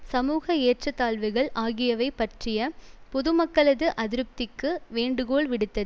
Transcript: சமூக ஏற்றத்தாழ்வுகள் ஆகியவை பற்றிய பொதுமக்களது அதிருப்திக்கு வேண்டுகோள் விடுத்து